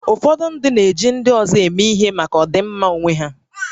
Ụfọdụ ndị na-eji ndị ọzọ eme ihe maka ọdịmma onwe ha